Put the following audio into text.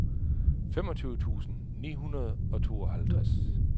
femogtyve tusind ni hundrede og tooghalvtreds